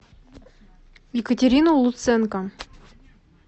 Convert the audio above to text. екатерину луценко